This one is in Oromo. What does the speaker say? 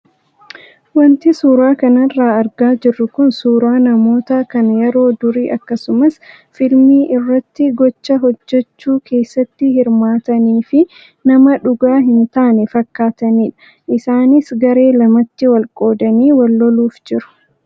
Wanti suuraa kanarraa argaa jirru kun suuraa namoota kan yeroo durii akkasumas fiilmii irratti gocha hojjachuu keessatti hirmaatanii fi nama dhugaa hin taane fakkaatanidha. Isaanis garee lamatti wal qoodanii wal louuf jiru.